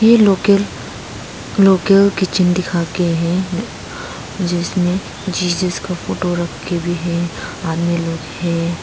ये किचन दिखा के हैं जिसमें जीसस का फोटो रख के भी है आदमी लोग है